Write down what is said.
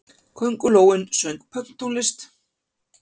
Köngulóin söng pönktónlist!